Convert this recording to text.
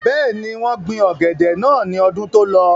bẹ́ẹ̀ni, wọ́n gbin ọ̀gẹ̀dẹ̀ náà ní ọdún tó lọ